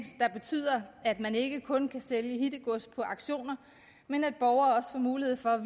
der betyder at man ikke kun kan sælge hittegods på auktioner men at borgere også får mulighed for at